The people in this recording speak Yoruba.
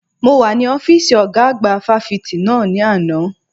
Mo wà ní ọ́fíìsì ọ̀gá àgbà fáfitì náà ní àná.